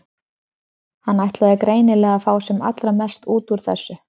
Hann ætlaði greinilega að fá sem allra mest út úr þessu.